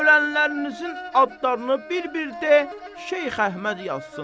Ölənlərinizin adlarını bir-bir de, Şeyx Əhməd yazsın.